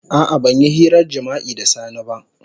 A'a ban yi hirar jima'i da Sani ba.